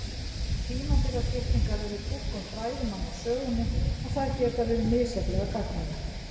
Tímabilaskiptingar eru túlkun fræðimanna á sögunni og þær geta verið misjafnlega gagnlegar.